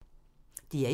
DR1